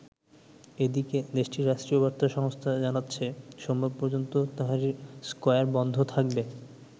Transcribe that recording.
এদিকে দেশটির রাষ্ট্রীয় বার্তা সংস্থা জানাচ্ছে সোমবার পর্যন্ত তাহরির স্কয়ার বন্ধ থাকবে।